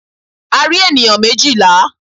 A rí ènìyàn méjìlá.